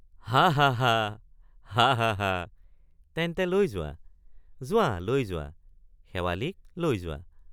হাঃ হাঃ হাঃ হাঃ হাঃ হাঃ তেন্তে লৈ যোৱা লৈ যোৱা শেৱালিক লৈ যোৱা।